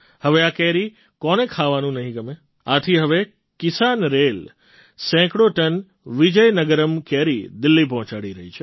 હવે આ કેરી કોને ખાવાનું નહીં ગમે આથી હવે કિસાનરેલ સેંકડો ટન વિજયનગરમ્ કેરી દિલ્લી પહોંચાડી રહી છે